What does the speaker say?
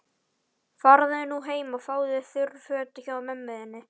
Farðu nú heim og fáðu þurr föt hjá mömmu þinni.